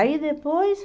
Aí depois...